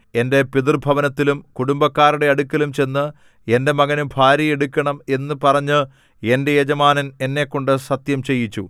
എന്റെ പിതൃഭവനത്തിലും കുടുംബക്കാരുടെ അടുക്കലും ചെന്ന് എന്റെ മകനു ഭാര്യയെ എടുക്കണം എന്നു പറഞ്ഞ് എന്റെ യജമാനൻ എന്നെക്കൊണ്ട് സത്യംചെയ്യിച്ചു